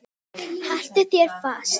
Haltu þér fast.